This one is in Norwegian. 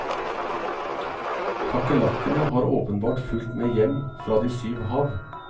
Kakerlakkene har åpenbart fulgt med hjem fra de syv hav.